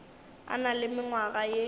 a na le mengwaga ye